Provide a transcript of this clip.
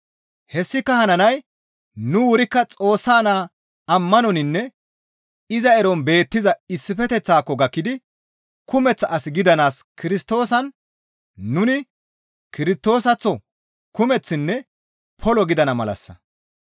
Hessika hananay nu wurikka Xoossa Naa ammanoninne iza eron beettiza issifeteththaako gakkidi kumeththa as gidanaas Kirstoosan nuni Kirstoosaththo kumeththinne polo gidana malassa.